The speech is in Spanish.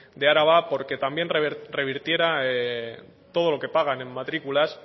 de araba porque también revirtiera todo lo que pagan en matrículas